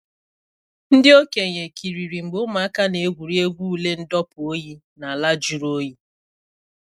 Ndị okenye kiriri mgbe ụmụaka na-egwuri egwu ule ndọpụ oyi n’ala jụrụ oyi.